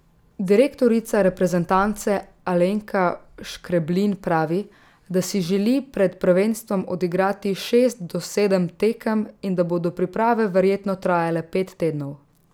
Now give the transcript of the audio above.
Direktorica reprezentance Alenka Škreblin pravi, da si želi pred prvenstvom odigrati šest do sedem tekem in da bodo priprave verjetno trajale pet tednov.